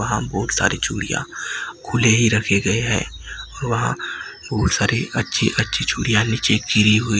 वहां बहोत सारी चूड़ियां खुले ही रखे गए हैं। वहां बहोत सारी अच्छी-अच्छी चूड़ियां नीचे गिरी हुई--